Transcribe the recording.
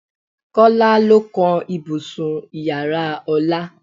Kọ́lá ló kan ibùsùn Ìyàrá Ọlá.